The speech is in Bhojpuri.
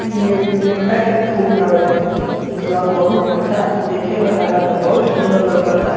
इ एगो गेंदा के फूल हवे जोन बहुत अच्छा देखे में लागता बहुत सुन्दर लौकता |